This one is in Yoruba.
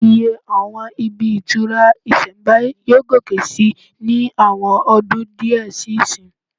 Iye àwọn ibi ìtura ìsẹ̀mbáyé yóò gòkè sí ní àwọn ọdún díẹ̀ sí ìsín